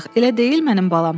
Elə deyil mənim balam?